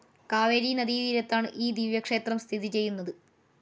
കാവേരി നദീതീരത്താണ് ഈ ദിവ്യക്ഷേത്രം സ്ഥിതിചെയ്യുന്നത്.